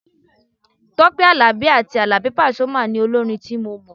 Tọ́pẹ́ Àlàbí àti Àlàbí pasuma ni olórin tí mo mọ̀.